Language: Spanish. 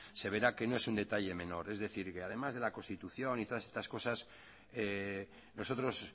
se verá que no es un detalle menor es decir que además de la constitución y todas estas cosas nosotros